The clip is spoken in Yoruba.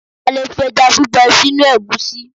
A lè fi ẹjá gbígbẹ sínú ègúsí